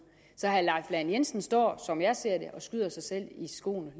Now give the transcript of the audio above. så herre leif lahn jensen står som jeg ser det og skyder sig selv